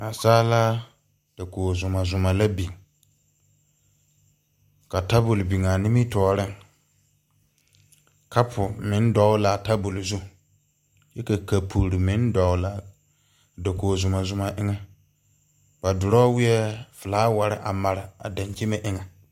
Naasaalaa dakoge zumɔzumɔ la biŋ ka tabol biŋaa nimitooreŋ kapu meŋ dɔgle laa tabol zu kyɛ ka kapurre meŋ dɔglaa dakoge zumɔzumɔ eŋɛ ba drɔwiɛɛ flaawarre a mare a dankyime eŋɛ.